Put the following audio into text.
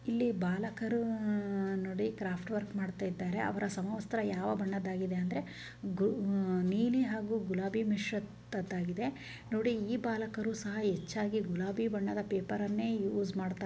ಇಲ್ಲಿ ಬಾಲಕರ ಅಹ್ ನೋಡಿ ಕ್ರಾಫ್ಟ್ ವರ್ಕ್ ಮಾಡ್ತಿದ್ದಾರೆ ಅವರ ಸಮವಸ್ತ್ರ ಯಾವ ಬಣ್ಣದ್ದಾಗಿದೆ ಅಂದರೆ ನೀಲಿ ಹಾಗೂ ಗುಲಾಬಿ ಮಿಶ್ರಿತದಾಗಿದೆ ನೋಡಿ ಈ ಬಾಲಕರು ಗುಲಾಬಿ ಬಣ್ಣದ ಪೇಪರನ್ನು ಯೂಸ್ ಮಾಡ್ತಾ ಇದ್ದಾರೆ.